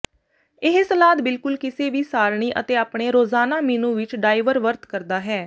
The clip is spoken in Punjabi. ਇਹ ਸਲਾਦ ਬਿਲਕੁਲ ਕਿਸੇ ਵੀ ਸਾਰਣੀ ਅਤੇ ਆਪਣੇ ਰੋਜ਼ਾਨਾ ਮੀਨੂ ਵਿੱਚ ਡਾਇਵਰਵਰਤ ਕਰਦਾ ਹੈ